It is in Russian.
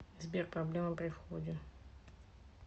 сбер проблемы при входе